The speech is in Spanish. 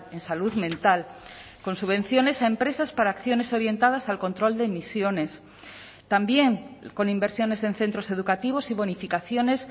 en salud mental con subvenciones a empresas para acciones orientadas al control de emisiones también con inversiones en centros educativos y bonificaciones